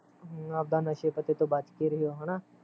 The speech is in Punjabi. ਹਮ ਅਵਦਾ ਨਸ਼ੇ ਪੱਤੇ ਤੋਂ ਬਚ ਕੇ ਰਹਿਓ ਹੈਨਾ